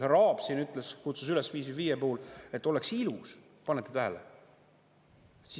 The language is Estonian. Härra Aab siin ütles, kutsus üles 555 puhul, et oleks ilus – panete tähele!